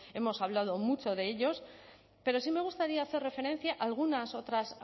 hemos hablado mucho de ellos pero sí me gustaría hacer referencia a algunas otras